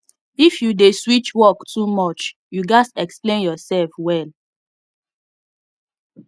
if you dey switch work too much you gats explain yourself well